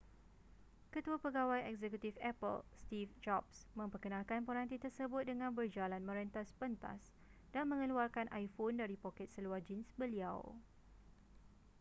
ketua pegawai eksekutif apple steve jobs memperkenalkan peranti tersebut dengan berjalan merentas pentas dan mengeluarkan iphone dari poket seluar jeans beliau